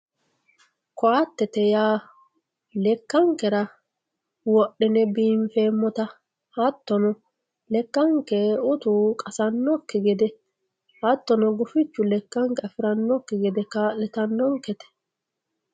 koatete yaa lekkankera wodhine biinfeemmota hattono lekkanke utu qasannokki gede hattono lekkanke gufichu afirannonkekki gede ka'litanonkete